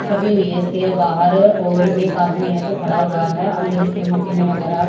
छपी हुई है इसके बाहर और एक आदमी है जो खड़ा हुआ है अंदर इसके मशीने वगैरा--